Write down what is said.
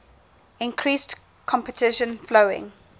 increased competition following